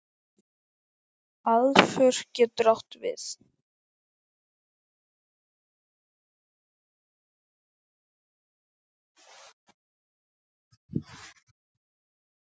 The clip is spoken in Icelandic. Aðför getur átt við